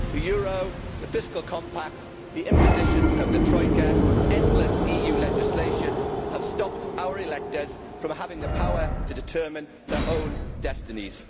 The euro, the Fiscal Compact, the impositions of the troika and endless EU legislation have stopped our electors from having the power to determine their own destinies.